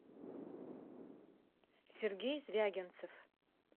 сергей звягинцев